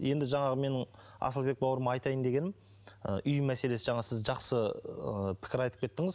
енді жаңағы менің асылбек бауырыма айтайын дегенім ы үй мәселесі жаңа сіз жақсы ы пікір айтып кеттіңіз